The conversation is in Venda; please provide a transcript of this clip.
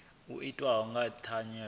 u itiwa nga u tavhanya